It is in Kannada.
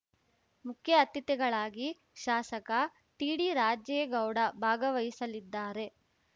ಮುಖ್ಯ ಅತಿಥಿಗಳಾಗಿ ಶಾಸಕ ಟಿಡಿರಾಜೇಗೌಡ ಭಾಗವಹಿಸಲಿದ್ದಾರೆ